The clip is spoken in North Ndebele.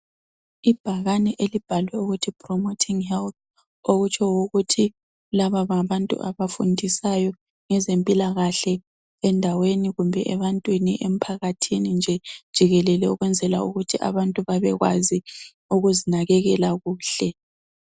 Ibhakani elibhalwe ukuthi promoting health okutsho ukuthi laba ngabanntu abafundisayo ngezempilakahle endaweni kumbe ebantwini emphakathini nje jikelele ukwenzela ukuthi abantu bekwazi ukuzinakekkela kuhle.